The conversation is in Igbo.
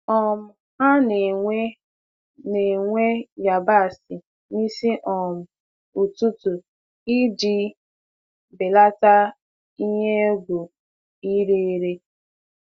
um Ha na-ewe na-ewe yabasị n'isi um ụtụtụ iji belata ihe egwu ire ere.